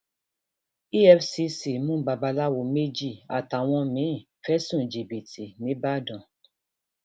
efcc mú babaláwo méjì àtàwọn míín fẹsùn jìbìtì nìbàdàn